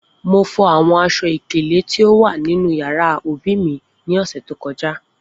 Mo fo awọn aṣọ-ikele ti o wa ninu yara obi mi ni ọsẹ to kọja.